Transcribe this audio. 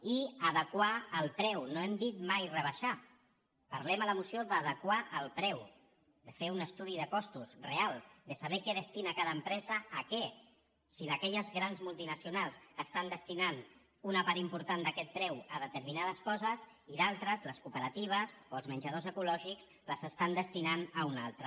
i adequar el preu no hem dit mai rebaixar parlem a la moció d’adequar el preu de fer un estudi de costos real de saber què destina cada empresa a què si aque·lles grans multinacionals estan destinant una part im·portant d’aquest preu a determinades coses i d’altres les cooperatives o els menjadors ecològics les estan destinant a una altra